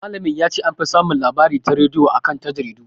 Malamin ya ce "an fi samun labari ta rediyo a kan ta jaridu".